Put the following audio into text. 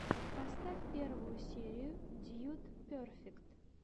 поставь первую серию дьюд перфект